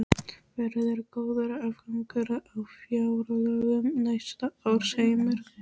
Verður góður afgangur á fjárlögum næsta árs, Heimir?